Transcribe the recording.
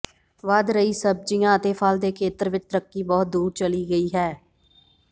ਵਧ ਰਹੀ ਸਬਜ਼ੀਆਂ ਅਤੇ ਫਲ ਦੇ ਖੇਤਰ ਵਿੱਚ ਤਰੱਕੀ ਬਹੁਤ ਦੂਰ ਚਲੀ ਗਈ ਹੈ